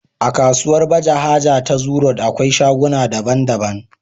akasuwar baje haja ta zoo road akwai shaguna da bandaban